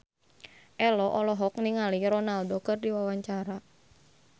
Ello olohok ningali Ronaldo keur diwawancara